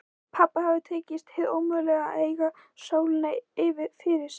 Pabba hafði tekist hið ómögulega: að eignast sólina fyrir sig.